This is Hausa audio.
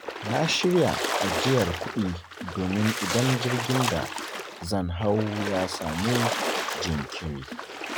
Na shirya ajiyar kudi domin idan jirgin da zan hau ya samu jinkiri.